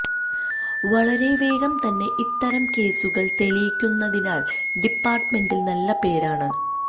വളരെ വേഗം തന്നെ ഇത്തരം കേസുകൾ തെളിയിക്കുന്നതിനാൽ ഡിപ്പാർട്ട്മെന്റിൽ നല്ല പേരാണ്